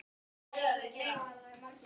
Þeirri ástríðu deildum við afi.